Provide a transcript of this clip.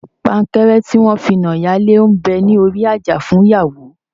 Pankẹ́rẹ́ tí wọn fi na ìyálé ń bẹ ní orí àjà fún ìyàwó